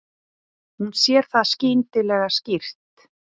Hún sér það skyndilega skýrt.